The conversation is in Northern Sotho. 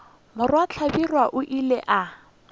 morwa hlabirwa o ile a